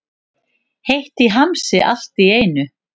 Heitt í hamsi allt í einu.